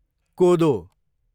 कोदो